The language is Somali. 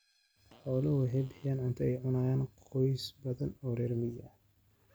Xooluhu waxay bixiyaan cunto ay cunaan qoysas badan oo reer miyi ah.